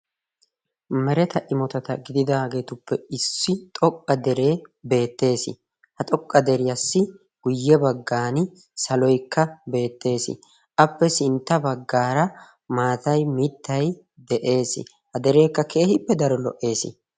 Mereta imotatta gididaagetuppe issi xoqqa dere bettees. ha xoqqa deriyassi guuyye baggaan saloykka bettees. appe sintta baggara maatay mittay de'ees. ha derekka keehippe daro lo''ees.